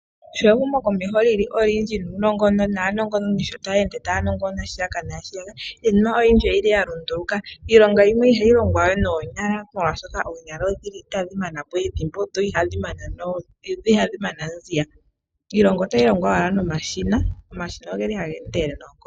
Sho ehumokomeho li olindji naanongononi sho taa ende taya nongonona shika naa shiya ka, iinima oyindji oya lunduluka. Iilonga oyindji ihayi longwa we noonyala, oshoka oonyala ohadhi mana po ethimbo dho ihadhi mana mbala. Iilonga otayi longwa owala nomashina. Omashina ohaga endelele noonkondo.